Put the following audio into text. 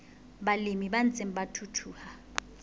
balemi ba ntseng ba thuthuha